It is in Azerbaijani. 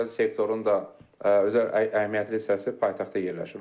özəl sektorun da özəl əhəmiyyətli hissəsi paytaxtda yerləşir.